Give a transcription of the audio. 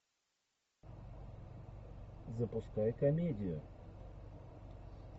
запускай комедию